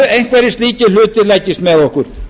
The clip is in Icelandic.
að einhverjir slíkir hlutir leggist með okkur